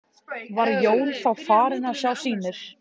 Var Jón þá farinn að sjá sýnir.